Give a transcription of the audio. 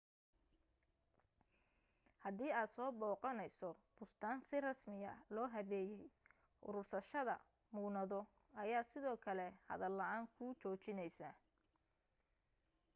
hadii aad soo booqanayso bustaan si rasmiya loo habeeyay uruursashada muunado ayaa sidoo kale hadal la'aan ku joojinaysa